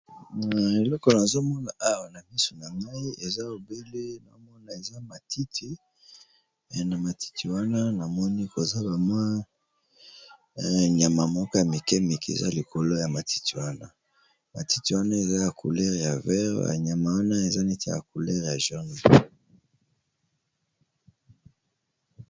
Na eleko nazo mona awa na miso na ngai eza obele na omona eza matiti, na matiti wana na moni koza ba mwa nyama moko ya mike mike eza likolo ya matiti wana. Matiti wana eza ya couleur ya vert, ya nyama wana eza neti ya couleur ya jaune.